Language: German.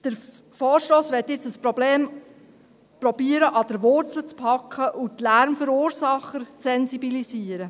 Der Vorstoss möchte nun versuchen, das Problem an der Wurzel zu packen und die Lärmverursacher zu sensibilisieren.